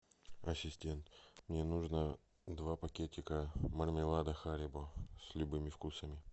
ассистент мне нужно два пакетика мармелада харибо с любыми вкусами